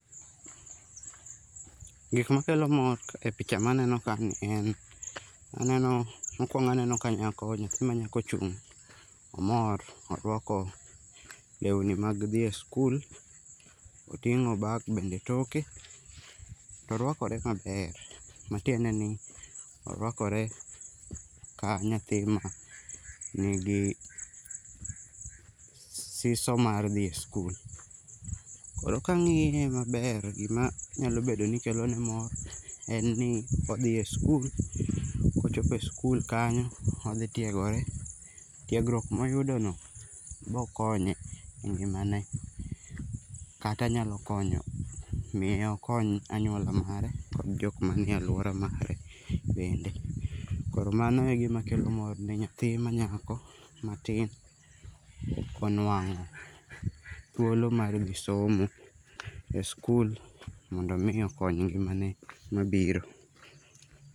Gik makelo mor kaka e picha maneno kani en mokwongo aneno ka nyako, nyathi manyako ochung' ,omor, orwako lewni mag dhi e sikul. Oting'o bag bende e toke, to orwakore maber matiende ni orwakore ka nyathi manigi siso mar dhi e sikul. Koro kang'iye maber, gimanyalo bedo ni kelo ne mor en ni odhi e sikul, kochopo e sikul, odhi tiegore. Tiegruok moyudono bokonye e ngimane kata nyalo konyo miyo okony anyuola mare kod jok manie alwora mare bende. Koro mano e gima kelo mor ne nyathi manyako matin konwang'o thuolo mar dhi somo e sikul mondo omii okony ngimane mabiro.